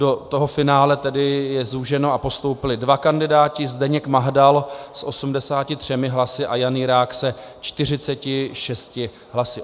Do toho finále tedy... je zúženo a postoupili dva kandidáti - Zdeněk Mahdal s 83 hlasy a Jan Jirák se 46 hlasy.